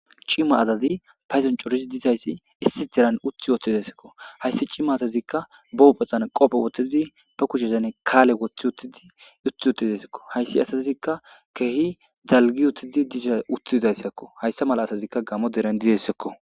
cimma asazi payzan corid diizayssi issi deran uthi woththidesekko hayssi cimma azazikka bohophaxan qophe woththizi ba kuchezane kaale woththi utidi uthi utizesekko hayssi asazikka keehi dalgi wuttidi disa utthidayssakko hayssa mala asazikka gamo deran dizessekko